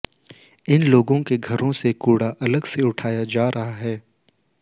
इन लोगों के घरों से कू ड़ा अलग से उठाया जा रहा है